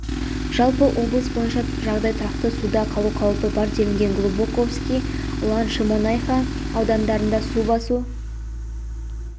жалпы облыс бойынша жағдай тұрақты суда қалу қаупі бар делінген глубоковский ұлан шемонаиха аудандарында су басу